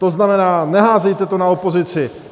To znamená, neházejte to na opozici.